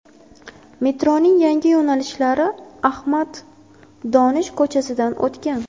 Metroning yangi yo‘nalishlari Ahmad Donish ko‘chasidan o‘tgan.